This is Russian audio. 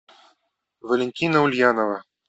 валентина ульянова